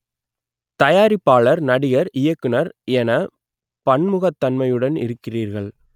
தயாரிப்பாளர் நடிகர் இயக்குனர் என பன்முகத்தன்மையுடன் இருக்கிறீர்கள்